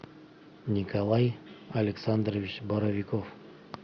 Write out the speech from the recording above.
николай александрович боровиков